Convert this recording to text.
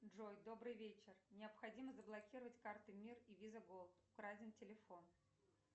джой добрый вечер необходимо заблокировать карты мир и виза голд украден телефон